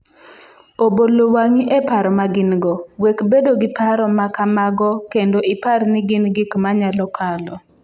Obolo wang’i e paro ma gin-go: Wek bedo gi paro ma kamago kendo ipar ni gin gik ma nyalo kalo.